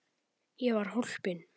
Ég var hólpin.